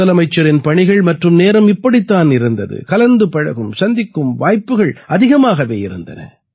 முதலமைச்சரின் பணிகள் மற்றும் நேரம் இப்படித் தான் இருந்தது கலந்து பழகும் சந்திக்கும் வாய்ப்புகள் அதிகமாகவே இருந்தன